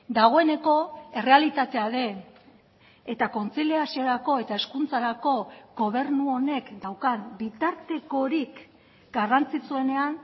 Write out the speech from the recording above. dagoeneko errealitatea den eta kontziliaziorako eta hezkuntzarako gobernu honek daukan bitartekorik garrantzitsuenean